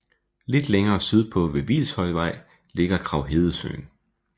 Lidt længere sydpå ved Hvilshøjvej ligger Kraghedesøen